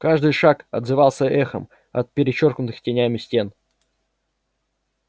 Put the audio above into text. каждый шаг отзывался эхом от перечёркнутых тенями стен